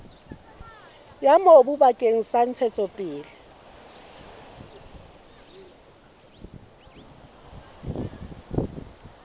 ya mobu bakeng sa ntshetsopele